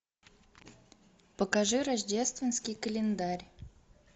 покажи рождественский календарь